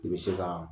I bɛ se ka